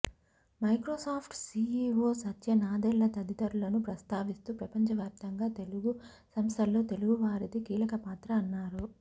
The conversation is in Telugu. మైక్రోసాఫ్ట్ సీఈవో సత్య నాదెళ్ల తదితరులను ప్రస్తావిస్తూ ప్రపంచవ్యాప్తంగా తెలుగు సంస్థల్లో తెలుగువారిది కీలకపాత్ర అన్నారు